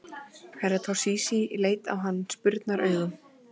Herra Toshizi leit á hann spurnaraugum.